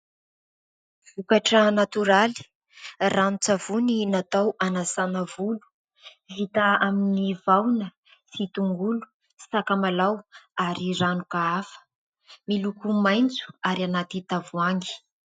Vokatra natoraly, rano-tsavony natao anasàna volo. Vita amin'ny vahona sy tongolo sy sakamalao ary ranoka hafa. Miloko maitso ary anaty tavoahangy.